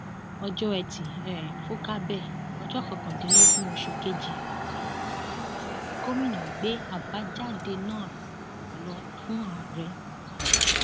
ọjọ etí um furcabee ọjọ kọkàndínlógún oṣù kejì um yìí ni gomina gbé àbájáde náà lọ fún ààrẹ buhari